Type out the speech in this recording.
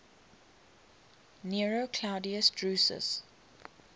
nero claudius drusus